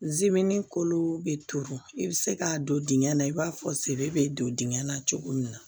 kolon bɛ turu i bɛ se k'a don dingɛ na i b'a fɔ sebe bɛ don dingɛ la cogo min na